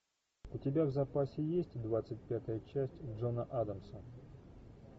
у тебя в запасе есть двадцать пятая часть джона адамса